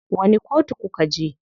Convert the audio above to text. Wani kotu kuka je?